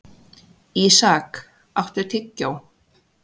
Ísak, áttu tyggjó?